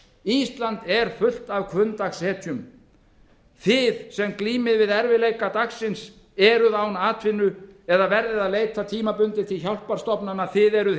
ísland er fullt af hvunndagshetjum þið sem glímið við erfiðleika dagsins eruð án atvinnu eða verðið að leita tímabundið til hjálparstofnana þið eruð